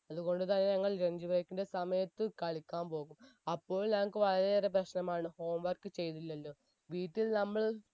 അത്കൊണ്ട് തന്നെ ഞങ്ങൾ lunch break ന്റെ സമയത്ത് കളിക്കാൻ പോകും അപ്പോൾ ഞങ്ങക്ക് വളരെയേറെ പ്രശ്നമാണ് home work ചെയ്തില്ലലോ വീട്ടിൽ നമ്മൾ